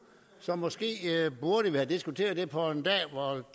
så måske burde vi have diskuteret det på et